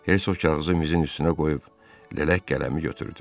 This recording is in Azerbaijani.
Hersoq kağızı mizinin üstünə qoyub lələk qələmi götürdü.